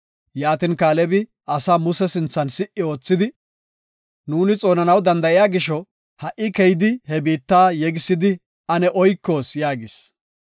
Yaatin Kaalebi asaa Muse sinthan si77i oothidi, “Nuuni xoonanaw danda7iya gisho, ha77i keyidi he biitta yegisidi ane oykoos” yaagis.